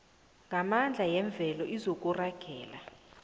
yamandla yemvelo izokuragela